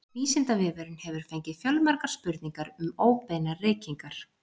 Vísindavefurinn hefur fengið fjölmargar spurningar um óbeinar reykingar.